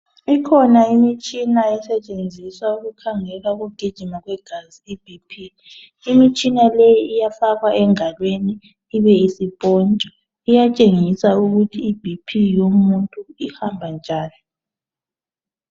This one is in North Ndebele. Ikhona imitshina esetshenziswa ukukhangela ukugijima kwegazi ibhiphi. Imitshina le iyafakwa engalweni ibisipontshwa iyatshengisa ukuthi ibhiphi yomuntu ihamba njani.